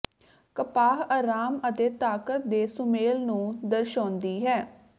ਕਪਾਹ ਆਰਾਮ ਅਤੇ ਤਾਕਤ ਦੇ ਸੁਮੇਲ ਨੂੰ ਦਰਸਾਉਂਦੀ ਹੈ